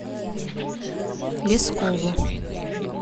лескову